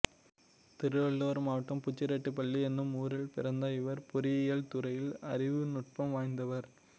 திருவள்ளூர் மாவட்டம் புச்சிரெட்டிபள்ளி எனும் ஊரில் பிறந்த இவர் பொறியியல் துறையில் அறிவுநுட்பம் வாய்ந்தவர்